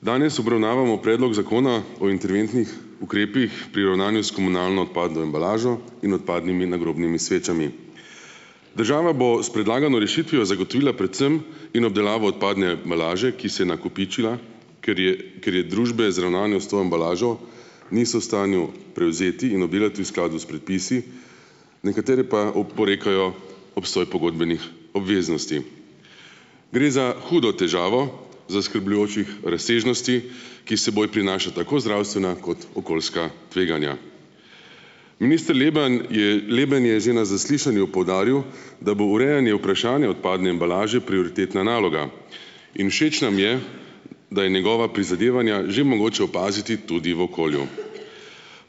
Danes obravnavamo predlog zakona o interventnih ukrepih pri ravnanju s komunalno odpadno embalažo in odpadnimi nagrobnimi svečami. Država bo s predlagano rešitvijo zagotovila predvsem in obdelavo odpadne embalaže, ki se je nakopičila, ker je, ker je družbe z ravnanjem s to embalažo niso v stanju prevzeti in pobirati v skladu s predpisi, nekatere pa oporekajo obstoj pogodbenih obveznosti. Gre za hudo težavo zaskrbljujočih razsežnosti, ki seboj prinaša tako zdravstvena kot okoljska tveganja. Minister Leben je Leben je že na zaslišanju poudaril, da bo urejanje vprašanja odpadne embalaže prioritetna naloga in všeč nam je, da je njegova prizadevanja že mogoče opaziti tudi v okolju.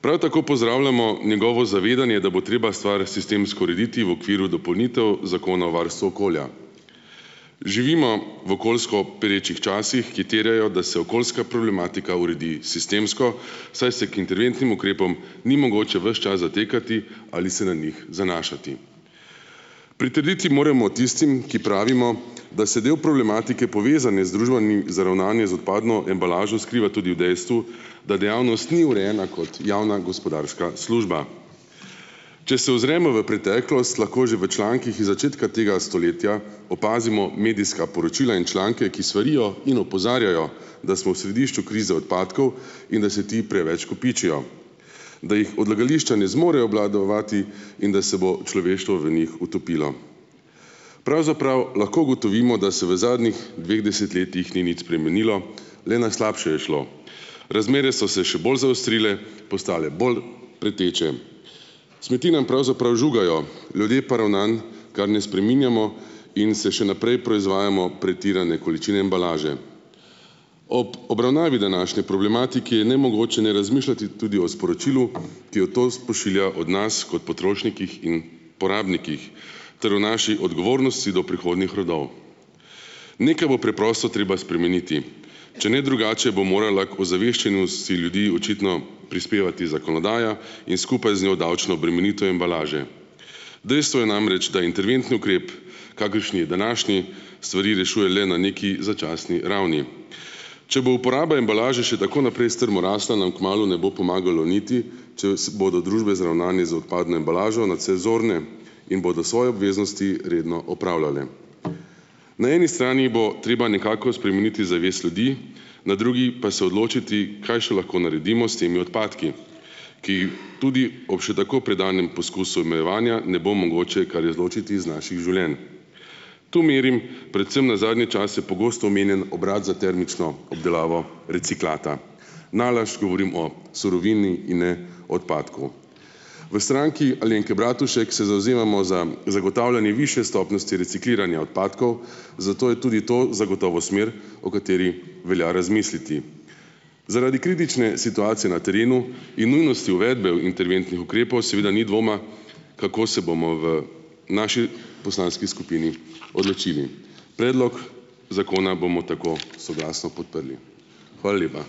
Prav tako pozdravljamo njegovo zavedanje, da bo treba stvar sistemsko urediti v okviru dopolnitev Zakona o varstvu okolja. Živimo v okoljsko perečih časih, ki terjajo, da se okoljska problematika uredi sistemsko, saj se k interventnim ukrepom ni mogoče ves čas zatekati ali se na njih zanašati. Pritrditi moremo tistim, ki pravimo, da se del problematike, povezovane z družbami za ravnanje z odpadno embalažo, skriva tudi v dejstvu, da dejavnost ni urejena kot javna gospodarska služba. Če se ozremo v preteklost, lahko že v člankih iz začetka tega stoletja opazimo medijska poročila in članke, ki svarijo in opozarjajo, da smo v središču krize odpadkov in da se ti preveč kopičijo, da jih odlagališča ne zmorejo obvladovati in da se bo človeštvo v njih utopilo. Pravzaprav lahko ugotovimo, da se v zadnjih dveh desetletjih ni nič spremenilo, le na slabše je šlo. Razmere so se še bolj zaostrile, postale bolj pereče. Smeti nam pravzaprav žugajo, ljudje pa ravnanj kar ne spreminjamo in se še naprej proizvajamo pretirane količine embalaže. Ob obravnavi današnje problematike je nemogoče ne razmišljati tudi o sporočilu, ki jo to pošilja o nas kot potrošnikih in porabnikih, ter o naši odgovornosti do prihodnjih rodov. Nekaj bo preprosto treba spremeniti. Če ne drugače, bo morala k ozaveščenosti ljudi očitno prispevati zakonodaja in skupaj z njo davčno obremenitev embalaže. Dejstvo je namreč, da interventni ukrep, kakršni je današnji, stvari rešuje le na neki začasni ravni. Če bo uporaba embalaže še tako naprej strmo rasla, nam kmalu ne bo pomagalo niti, če si bodo družbe za ravnanje z odpadno embalažo nadse zorne in bodo svoje obveznosti redno opravljale. Na eni strani bo treba nekako spremeniti zavest ljudi, na drugi pa se odločiti, kaj še lahko naredimo s temi odpadki, ki tudi ob še tako predanem poskusu omejevanja ne bo mogoče kar izločiti iz naših življenj. Tu merim predvsem na zadnje čase pogosto omenjen obrat za termično obdelavo reciklata. Nalašč govorim o surovini in ne odpadku. V Stranki Alenke Bratušek se zavzemamo za zagotavljanje višje stopnjosti recikliranja odpadkov, zato je tudi to zagotovo smer, o kateri velja razmisliti. Zaradi kritične situacije na terenu in nujnosti uvedbe interventnih ukrepov seveda ni dvoma, kako se bomo v naši poslanski skupini odločili. Predlog zakona bomo tako soglasno podprli. Hvala lepa.